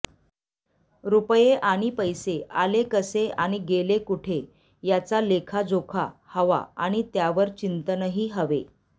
रुपये आणे पैसे आले कसे आणि गेले कुठे याचा लेखाजोखा हवा आणि त्यावर चिंतनही हवे